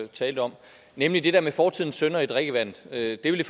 talte om nemlig det der med fortidens synder i drikkevandet det vil